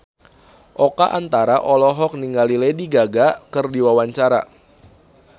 Oka Antara olohok ningali Lady Gaga keur diwawancara